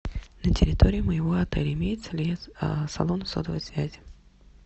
на территории моего отеля имеется ли салон сотовой связи